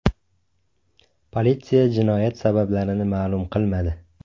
Politsiya jinoyat sabablarini ma’lum qilmadi.